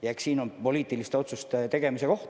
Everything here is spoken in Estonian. Ja eks see ole poliitiliste otsuste tegemise koht.